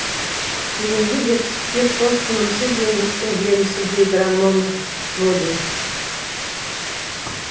бүгінгі жетістіктер сол тынымсыз еңбектің жемісі дейді романо проди